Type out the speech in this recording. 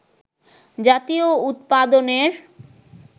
জাতীয় উৎপাদনের